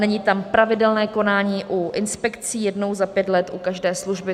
Není tam pravidelné konání u inspekcí, jednou za pět let u každé služby.